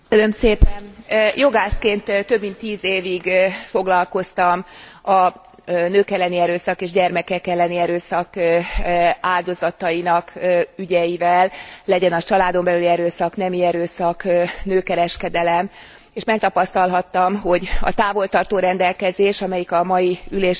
Jogászként több mint tíz évig foglalkoztam a nők elleni erőszak és a gyermekek elleni erőszak áldozatainak ügyeivel legyen az családon belüli erőszak, nemi erőszak, nőkereskedelem és megtapasztalhattam, hogy a távol tartó rendelkezés, amelyik a mai ülésünknek a témája,